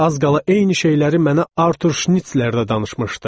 Az qala eyni şeyləri mənə Artur Şnitsler də danışmışdı.